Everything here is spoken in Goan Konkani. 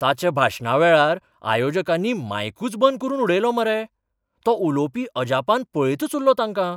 ताच्या भाशणावेळार आयोजकांनी मायकूच बंद करून उडयलो मरे, तो उलोवपी अजापान पळयतच उल्लो तांकां.